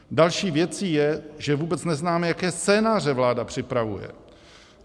Další věcí je, že vůbec neznáme, jaké scénáře vláda připravuje.